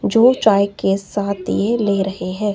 जो चाय के साथ ये ले रहे हैं।